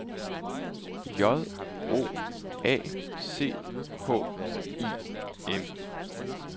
J O A C H I M